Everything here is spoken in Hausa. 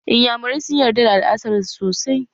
Iyamurai sun yarda da al'adar su sosai